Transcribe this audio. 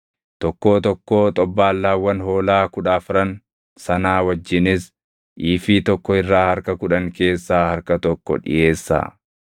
tokkoo tokkoo xobbaallaawwan hoolaa kudha afran sanaa wajjinis iifii tokko irraa harka kudhan keessaa harka tokko dhiʼeessaa.